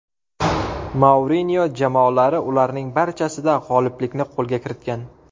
Mourinyo jamoalari ularning barchasida g‘oliblikni qo‘lga kiritgan.